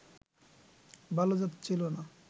ভালো যাচ্ছিলনা